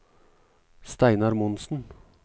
Steinar Monsen